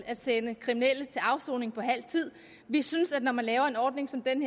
at sende kriminelle til afsoning på halv tid vi synes at når man laver en ordning som den